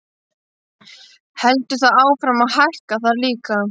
Heldur það áfram að hækka þar líka?